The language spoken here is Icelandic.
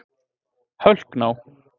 Hölkná